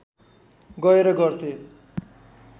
गएर गर्थे